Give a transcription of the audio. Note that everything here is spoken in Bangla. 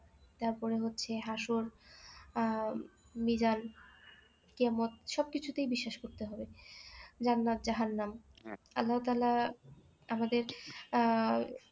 তারপরে হচ্ছে হাসুল আহ মিরাল কি এমন সব কিছুতেই বিশ্বাস করতে হবে জান্নাত জাহান্নাম আল্লাহতালা আমাদের আহ